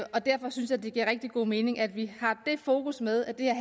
og derfor synes jeg det giver rigtig god mening at vi har det fokus med at det her